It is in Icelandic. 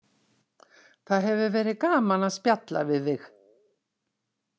Það hefur verið gaman að spjalla við þig